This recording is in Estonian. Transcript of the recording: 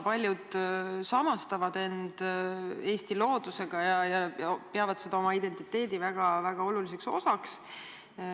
Paljud samastavad end Eesti loodusega ja peavad seda oma identiteedi väga oluliseks osaks.